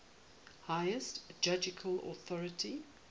highest judicial authority